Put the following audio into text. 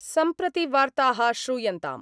सम्प्रति वार्ताः श्रूयन्ताम्